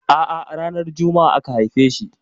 A'a ranar Juma'a aka haife shi.